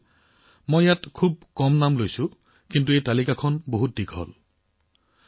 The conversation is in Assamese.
বন্ধুসকল ইয়াত মই অতি কম নাম লৈছো আনহাতে চাওক এই তালিকাখন অতি দীঘলীয়া